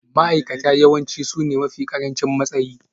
Ma'aikata yawanci sune mafi ƙarancin matsayi